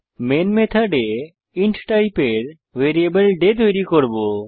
main মেথডে int টাইপের variable ডে তৈরী করব